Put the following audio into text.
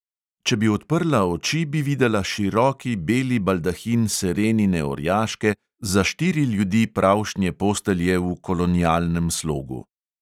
Če bi odprla oči, bi videla široki beli baldahin serenine orjaške, za štiri ljudi pravšnje postelje v kolonialnem slogu.